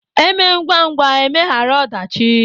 E mee ngwangwa emeghara ọdachi